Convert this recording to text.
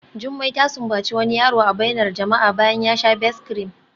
Jumai ta sumbaci wani yaro a bainar jama'a bayan ya sha Best-cream